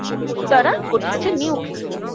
দ্বারা গঠিয়েছে নিউকি